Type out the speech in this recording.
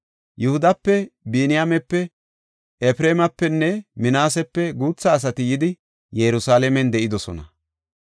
Yihudape, Biniyaamepe, Efreemapenne Minaasepe guutha asati yidi Yerusalaamen de7idosona.